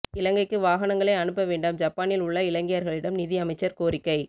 இலங்கைக்கு வாகனங்களை அனுப்ப வேண்டாம் ஜப்பானில் உள்ள இலங்கையர்களிடம் நிதி அமைச்சர் கோரிக்கை